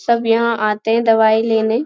सब यहाँ आते है दवाई लेने --